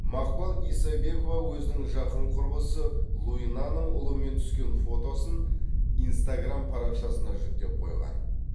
мақпал исабекова өзінің жақын құрбысы луинаның ұлымен түскен фотосын инстаграмм парақшасына жүктеп қойған